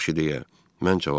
Yaxşı, deyə mən cavab verdim.